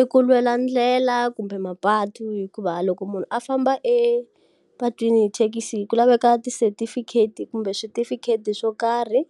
I ku lwela ndlela kumbe mapatu hikuva loko munhu a famba epatwini hi thekisi ku laveka ti-certificate-i kumbe switifikheti swo karhi.